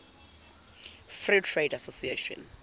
free trade association